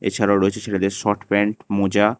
এছাড়াও রয়েছে ছেলেদের শট প্যান্ট মোজা।